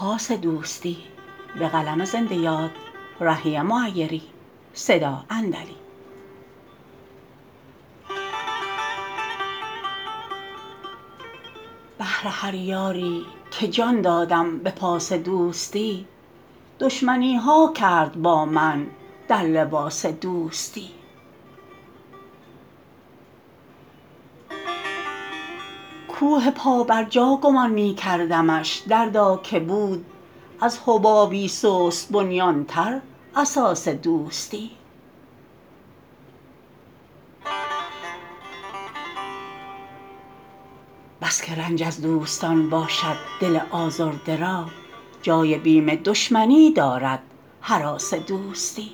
بهر هر یاری که جان دادم به پاس دوستی دشمنی ها کرد با من در لباس دوستی کوه پابرجا گمان می کردمش دردا که بود از حبابی سست بنیان تر اساس دوستی بس که رنج از دوستان باشد دل آزرده را جای بیم دشمنی دارد هراس دوستی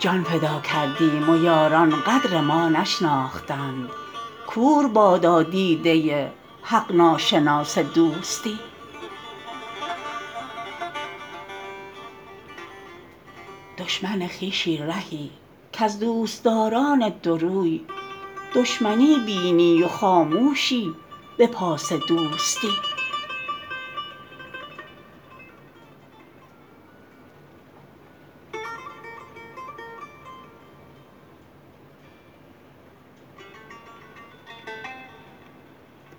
جان فدا کردیم و یاران قدر ما نشناختند کور بادا دیده حق ناشناس دوستی دشمن خویشی رهی کز دوستداران دوروی دشمنی بینی و خاموشی به پاس دوستی